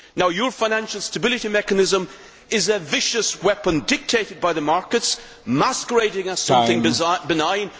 Your Financial Stability Mechanism is a vicious weapon dictated by the markets, masquerading as something benign.